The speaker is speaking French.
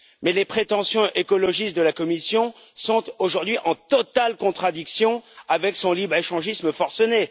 Mais les prétentions écologistes de la Commission sont aujourd'hui en totale contradiction avec son libre échangisme forcené.